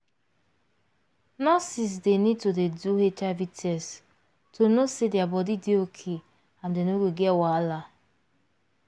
nurses dey need to dey do hiv test to know say their body dey okay and dem no go get wahala